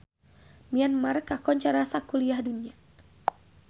Myanmar kakoncara sakuliah dunya